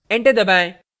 enter दबाएं